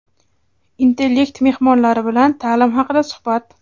"Intellekt" mehmonlari bilan ta’lim haqida suhbat.